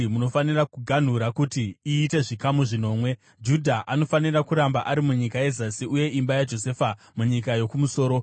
Munofanira kuganhura kuti iite zvikamu zvinomwe. Judha anofanira kuramba ari munyika yezasi uye imba yaJosefa munyika yokumusoro.